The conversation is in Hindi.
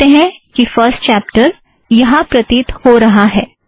आप देख सकते हैं कि फ़र्स्ट चॅप्टर यहाँ प्रतीत हो रहा है